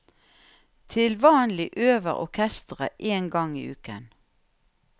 Til vanlig øver orkesteret én gang i uken.